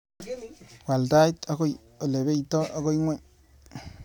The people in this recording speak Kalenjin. Wal tait akoi olebeitai akoi ing'ony.